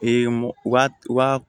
u ka u ka